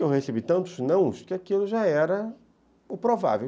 Eu recebi tantos nãos que aquilo já era o provável.